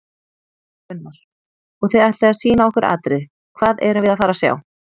Gunnar: Og þið ætlið að sýna okkur atriði, hvað erum við að fara að sjá?